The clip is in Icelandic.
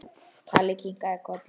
Halli kinkaði kolli.